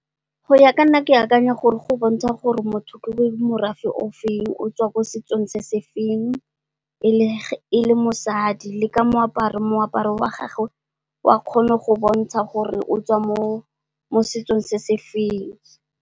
Go ya ka nna ke akanya gore go bontsha gore motho ke morafe o feng, o tswa ko setsong se se feng e le mosadi, le ka moaparo wa gagwe wa kgona go bontsha gore o tswa mo setsong se se feng.